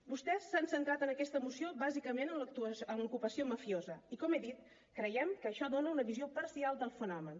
vostès s’han centrat en aquesta moció bàsicament en l’ocupació mafiosa i com he dit creiem que això dona una visió parcial del fenomen